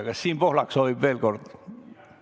Kas Siim Pohlak soovib veel kord sõna?